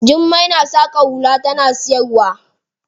Jummai na saƙa hula tana siyarwa.